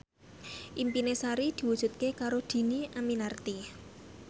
impine Sari diwujudke karo Dhini Aminarti